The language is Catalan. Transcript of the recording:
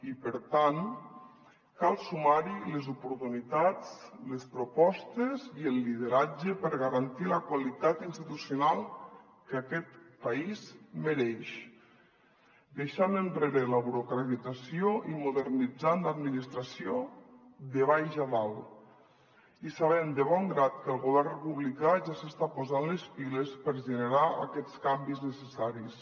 i per tant cal sumar hi les oportunitats les propostes i el lideratge per garantir la qualitat institucional que aquest país mereix deixant enrere la burocratització i modernitzant l’administració de baix a dalt i sabent de bon grat que el govern republicà ja s’està posant les piles per generar aquests canvis necessaris